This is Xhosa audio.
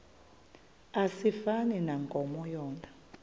asifani nankomo yona